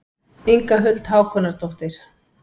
Inga Huld Hákonardóttir.